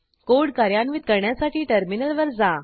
code कार्यान्वित करण्यासाठी टर्मिनलवर जा